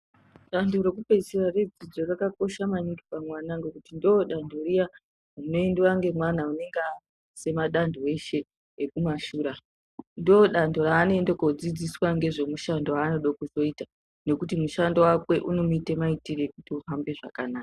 Danto rekupedzisira redzidzo rakakosha maningi pamwana nekuti ndiro danto riya rinoendiwa nemwana anenge apasa madanto eshe ekumashure ndodanto raanoenda kunodzidziswa nezvemushando waanoda kuita nekuti mushando wake unomuita maitirei uhambe zvakanaka.